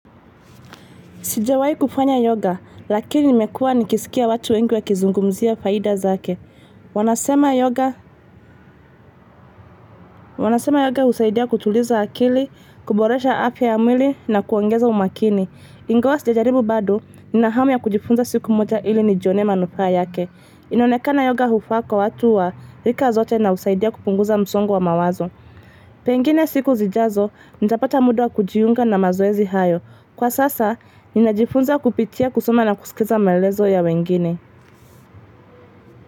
Sijawahi kufanya yoga, lakini nimekua nikisikia watu wengi wakizungumzia faida zake. Wanasema yoga husaidia kutuliza akili, kuboresha afya ya mwili na kuongeza umakini. Ingawa sijajaribu bado, nina hamu ya kujifunza siku moja ili nijionee manufaa yake. Inonekana yoga hufaa kwa watu wa rika zote na husaidia kupunguza msongo wa mawazo. Pengine siku zijazo, nitapata muda wa kujiunga na mazoezi hayo. Kwa sasa, ninajifunza kupitia kusoma na kusikiza maelezo ya wengine.